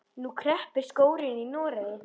Nú kreppir skórinn í Noregi.